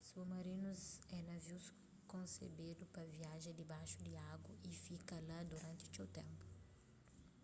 submarinus é navius konsebedu pa viaja dibaxu di agu y fika la duranti txeu ténpu